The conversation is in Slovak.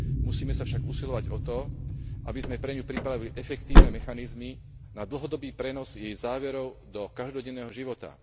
Musíme sa však usilovať o to, aby sme pre ňu pripravili efektívne mechanizmy na dlhodobý prenos jej záverov do každodenného života.